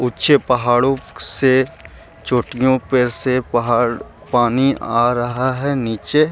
ऊंचे पहाड़ो से चोटियों पे से पहाड़ पानी आ रहा है नीचे ।